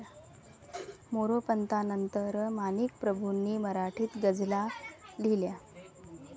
मोरोपंतांनंतर माणिकप्रभूंनी मराठीत गझला लिहिल्या.